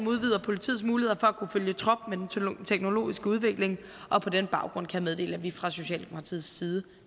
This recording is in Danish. udvider politiets muligheder for at kunne følge trop med den teknologiske udvikling og på den baggrund kan jeg meddele at vi fra socialdemokratiets side